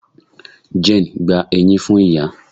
Jane gba eyin fun iya